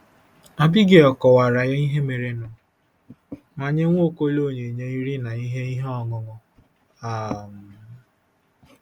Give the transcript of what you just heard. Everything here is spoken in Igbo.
Abigail kọwaara ya ihe merenụ ma nye Nwaokolo onyinye nri na ihe ihe ọṅụṅụ. um